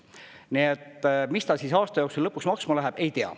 Nii et mis ta siis aasta jooksul lõpuks maksma läheb, ei tea.